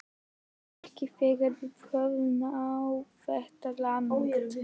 Ekki þegar við höfum náð þetta langt